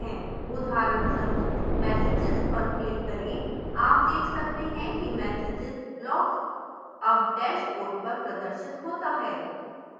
उदाहरणस्वरूप messages पर click करें आप देख सकते हैं कि messages block अब dashboard पर प्रदर्शित होता है